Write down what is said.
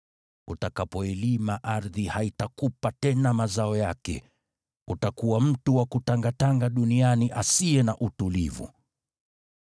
Utakapoilima ardhi, haitakupa tena mazao yake. Utakuwa mtu wa kutangatanga duniani asiye na utulivu.”